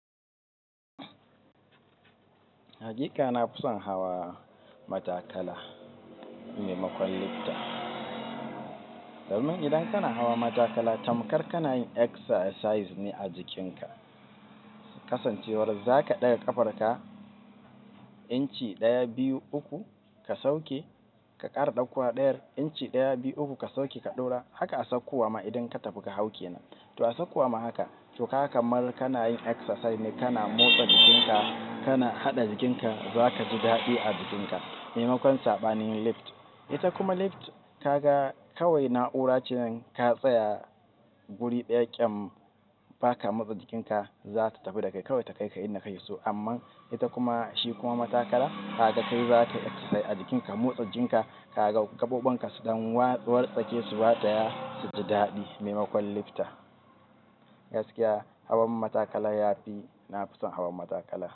Hakika na fison hawa matakala maimakon lifta. Domin idan kana hawa matakala tamkar kana yin exercise ne a jikinka. Kasancewar zaka ɗaga ƙafarka inci ɗaya, biyu, uku ka sauke, ka ƙara ɗaukowa ɗayar inci ɗaya, biyu, uku ka sauke ka ɗaura. Haka a saukowa ma idan ka tafi ka hau ke nan. To a saukowa ma haka. To kaga kamar kana yin exercise ne, kana motsa jikinka, kana haɗa jikinka. Zaka ji daɗi a jikinka maimakon saɓanin lifta. Ita kuma lifta ka ga kawai na'ura ce ka tsaya guri ɗaya ƙyan baka motsa jikinka za ta tafi da kai kawai ta kai ka inda kayi so. Amma ita kuma shi kuma matakala ka ga kai zakai exercise a jikinka, motsa jinka, ka ga gaɓoɓin su ɗan wartsake su wataya suji daɗi maimakon lifta. Gaskiya hawan matakala yafi, na fison hawan matakala.